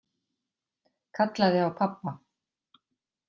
Kallaði á pabba.